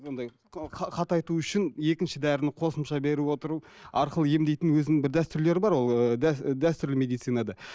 қатайту үшін екінші дәріні қосымша беріп отыру арқылы емдейтін өзінің бір дәстүрлері бар ыыы дәстүрлі медицинада